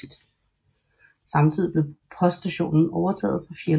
Samtidig blev poststationen overtaget fra Fjäl